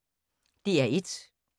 DR1